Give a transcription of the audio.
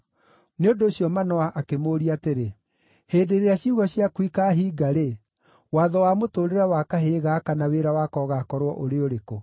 Nĩ ũndũ ũcio Manoa akĩmũũria atĩrĩ, “Hĩndĩ ĩrĩa ciugo ciaku ikaahinga-rĩ, watho wa mũtũũrĩre wa kahĩĩ gaka na wĩra wako ũgaakorwo ũrĩ ũrĩkũ?”